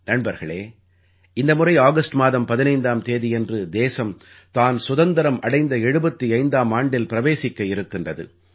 நண்பர்களே இந்த முறை ஆகஸ்ட் மாதம் 15ஆம் தேதியன்று தேசம் தான் சுதந்திரம் அடைந்த 75ஆம் ஆண்டில் பிரவேசிக்க இருக்கின்றது